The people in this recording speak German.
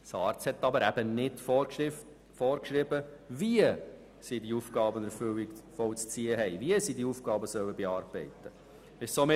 Die SARZ hat aber nicht vorgeschrieben, wie die Regionen diese Aufgaben zu bearbeiten und zu erfüllen haben.